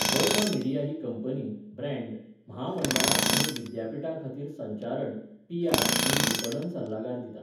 Verma media ही company, brand, म्हामंडळां आनी विद्यापिठांखातीर संचारण, पी.आर. आनी विपणन सल्लागार दिता.